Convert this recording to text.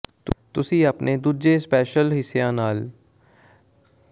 ਤੁਸੀਂ ਆਪਣੇ ਦੂਜੇ ਸਪੈਲ ਹਿੱਸੇਾਂ ਨਾਲ ਟੈਰੋਟ ਕਾਰਡ ਵਰਤ ਸਕਦੇ ਹੋ